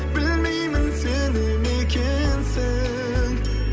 білмеймін сене ме екенсің